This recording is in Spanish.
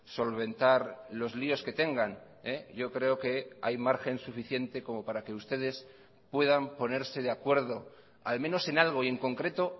solventar los líos que tengan yo creo que hay margen suficiente como para que ustedes puedan ponerse de acuerdo al menos en algo y en concreto